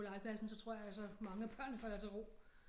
På legepladsen så tror jeg altså mange af børnene falder til ro